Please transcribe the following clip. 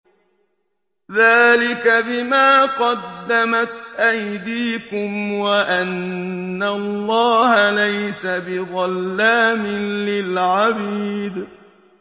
ذَٰلِكَ بِمَا قَدَّمَتْ أَيْدِيكُمْ وَأَنَّ اللَّهَ لَيْسَ بِظَلَّامٍ لِّلْعَبِيدِ